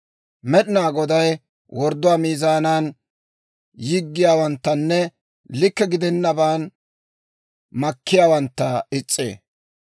Med'inaa Goday wordduwaa miizaanan yiggiyaawanttanne likke gidennaban makkiyaawantta is's'ee.